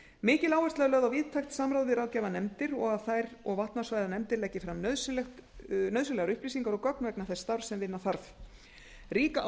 mikil áhersla er lögð á víðtækt samráð við ráðgjafarnefndir og að þær og vatnasvæðanefndir leggi fram nauðsynlegar upplýsingar og gögn vegna þess starfs sem vinna þarf rík